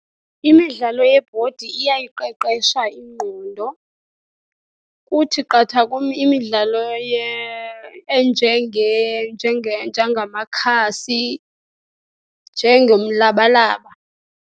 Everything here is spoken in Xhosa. Imidlalo yebhodi iyayiqeqesha ingqondo. Kuthi qatha kum imidlalo enjengamakhasi, njengomlabalaba.